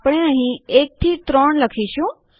આપણે અહીં 1 3 લખીશું